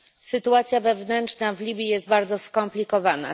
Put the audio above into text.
Sytuacja wewnętrzna w Libii jest bardzo skomplikowana.